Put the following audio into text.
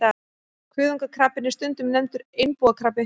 Kuðungakrabbinn er stundum nefndur einbúakrabbi.